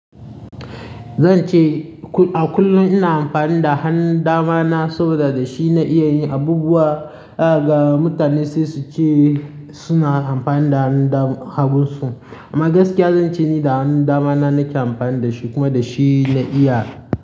Zan ce a kullum ina amfani da hannun dama na saboda da shi na iya yin abubuwa, ga mutane sai su ce suna amfani da hannu da hagunsu. Amma gaskiya zan ce ni da hannun dama na nake amfani da shi kuma da shine na iya.